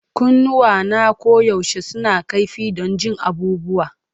Kunnuwana koyaushe suna kaifi don jin abubuwa.